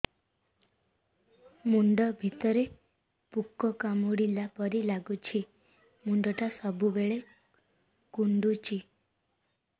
ମୁଣ୍ଡ ଭିତରେ ପୁକ କାମୁଡ଼ିଲା ପରି ଲାଗୁଛି ମୁଣ୍ଡ ଟା ସବୁବେଳେ କୁଣ୍ଡୁଚି